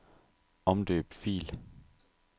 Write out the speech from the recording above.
Omdøb fil.